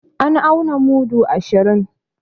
An auna mudu ashirin